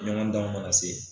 Ɲɔgɔn danw ma na se .